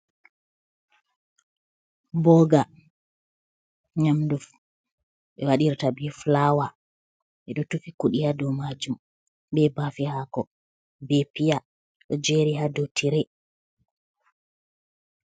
Booga, nyamdu ɓe waɗirta be fulawa. Ɓe ɗo tufi kuɗi haa dou maajum, be baafe haako, be piya, ɗo jeri haa dou trey.